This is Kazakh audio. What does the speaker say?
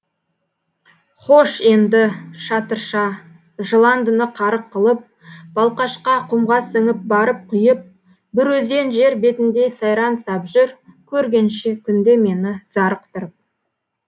хош енді шатырша жыландыны қарық қылып балқашқа құмға сіңіп барып құйып бір өзен жер бетінде сайран сап жүр көргенше күнде мені зарықтырып